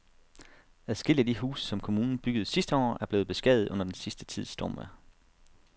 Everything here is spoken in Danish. Adskillige af de huse, som kommunen byggede sidste år, er blevet beskadiget under den sidste tids stormvejr.